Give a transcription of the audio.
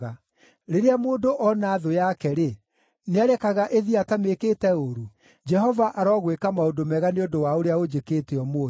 Rĩrĩa mũndũ ona thũ yake-rĩ, nĩarekaga ĩthiĩ atamĩkĩte ũũru? Jehova arogwĩka maũndũ mega nĩ ũndũ wa ũrĩa ũnjĩkĩte ũmũthĩ.